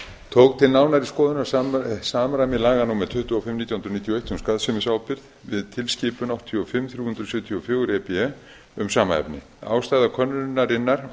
tók til nánari skoðunar samræmi laga númer tuttugu og fimm nítján hundruð níutíu og eitt um skaðsemisábyrgð við tilskipun áttatíu og fimm þrjú hundruð sjötíu og fjögur e b e um sama efni ástæða könnunarinnar